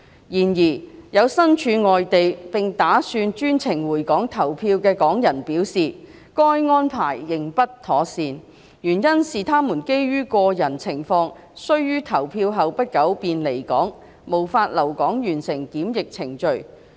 然而，有身處外地並打算專程回港投票的港人表示，該安排仍不妥善，原因是他們基於個人情況需於投票後不久便離港，無法留港完成檢疫程序。